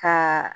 Ka